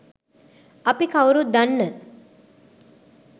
අපි කවුරුත් දන්න.